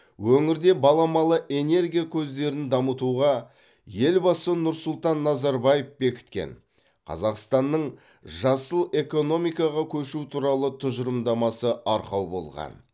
өңірде баламалы энергия көздерін дамытуға елбасы нұрсұлтан назарбаев бекіткен қазақстанның жасыл экономикаға көшу туралы тұжырымдамасы арқау болған